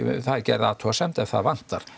það er gerð athugasemd ef það vantar